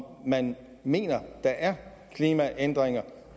om man mener at der er klimaændringer